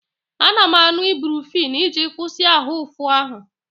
Ana m aṅụ Ibrufen iji kwụsị ahụ ụfụ ahụ.